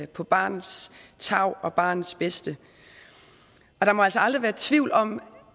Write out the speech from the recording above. på barnets tarv og barnets bedste der må altså aldrig været tvivl om